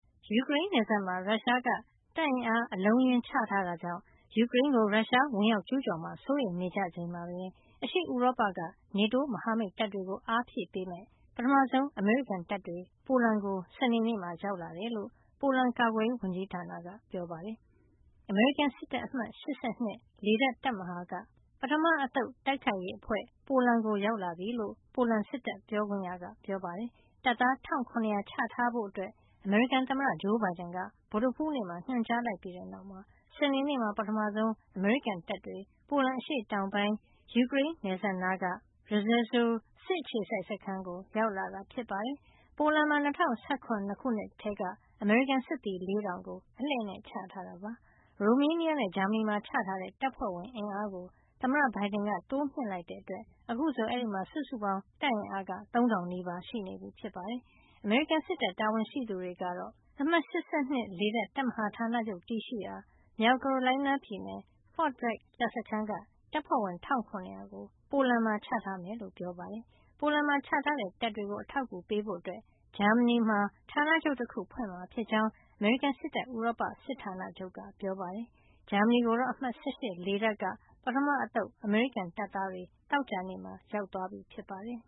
ယူကရိန်းနယ်စပ်မှာ ရုရှားက တပ်အင်အား အလုံးအရင်း ချထားတာကြောင့် ယူကရိန်းကို ရုရှား ဝင်ကျူးကျော်မှာ စိုးရိမ်နေကြချိန်မှာပဲ အရှေ့ဥရောပက NATO မဟာမိတ်တပ်တွေကို အင်အားဖြည့်ပေးမယ့် ပထမဆုံး အမေရိကန်တပ်တွေ ပိုလန်ကို စနေနေ့မှာ ရောက်လာတယ်လို့ ပိုလန်ကာကွယ်ရေး ဝန်ကြီးဌာနက ပြောပါတယ်။ အမေရိကန်စစ်တပ် အမှတ် ၈၂ လေတပ် တပ်မဟာက ပထမအသုတ် တိုက်ခိုက်ရေးအဖွဲ့ ပိုလန်ကို ရောက်လာပြီလို့ ပိုလန်စစ်တပ်ပြောခွင့်ရက ပြောပါတယ်။ တပ်သား ၁,၇၀၀ ချထားဖို့ အမေရိကန်သမ္မတ ဂျိုးဘိုင်ဒန်က ဗုဒ္ဓဟူးနေ့မှာ ညွှန်ကြားလိုက်ပြီးနောက် စနေနေ့မှာ ပထမဆုံး အမေရိကန်တပ်တွေ ပိုလန်အရှေ့တောင်ပိုင်း ယူကရိန်းနယ်စပ်နားက Rzeszow စစ်အခြေစိုက်စခန်းကို ရောက်လာတာ ဖြစ်ပါတယ်။ ပိုလန်မှာ ၂၀၁၇ ခုနှစ်ကတည်းက အမေရိကန်စစ်သည် ၄,၀၀၀ ကို အလှည့်နဲ့ ချထားတာပါ။ ရိုမေးနီးယားနဲ့ ဂျာမနီမှာ ချထားတဲ့ တပ်ဖွဲ့ဝင်အင်အားကို သမ္မတ ဘိုင်ဒန်က တိုးမြှင့်လိုက်တာကြောင့် အခုဆို အဲဒီမှာ စုစုပေါင်း တပ်အင်အားက ၃,၀၀၀ နီးပါး ရှိနေပြီ ဖြစ်ပါတယ်။ အမေရိကန်စစ်တပ် တာဝန်ရှိသူတွေကတော့ အမှတ် ၈၂ လေတပ် တပ်မဟာဌာနချုပ် တည်ရှိရာ မြောက်ကာရိုလိုင်းနားပြည်နယ် Fort Bragg တပ်စခန်းက တပ်ဖွဲ့ဝင် ၁,၇၀၀ ကို ပိုလန်မှာ ချထားမှာဖြစ်ကြောင်း ပြောပါတယ်။ ပိုလန်မှာချထားတဲ့ တပ်တွေကို အထောက်အကူပေးဖို့အတွက် ဂျာမနီမှာ ဌာနချုပ်တခုဖွင့်မှာဖြစ်ကြောင်း အမေရိကန်စစ်တပ် ဥရောပစစ်ဌာနချုပ်က ပြောပါတယ်။ ဂျာမနီကိုတော့ အမှတ် ၁၈ လေတပ်က ပထမအသုတ် အမေရိကန်တပ်သားတွေ သောကြာနေ့မှာ ရောက်သွားပြီ ဖြစ်ပါတယ်။